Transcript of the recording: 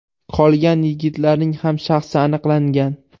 Qolgan yigitlarning ham shaxsi aniqlangan.